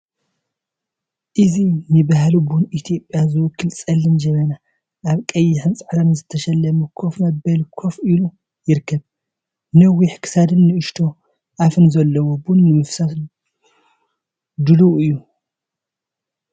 እዚ ንባህሊ ቡን ኢትዮጵያ ዝውክል ጸሊም ጀበና ኣብ ቀይሕን ጻዕዳን ዝተሰለመ ኮፍ መበሊ ኮፍ ኢሉ ይርከብ። ነዊሕ ክሳድን ንእሽቶ ኣፋን ዘለዎ፡ ቡን ንምፍሳስ ድሉው እዩ።